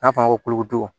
N'a fɔra ko dugun